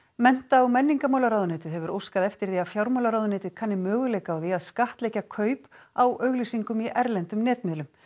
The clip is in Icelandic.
mennta og menningarmálaráðuneytið hefur óskað eftir því að fjármálaráðuneytið kanni möguleika á því að skattleggja kaup á auglýsingum í erlendum netmiðlum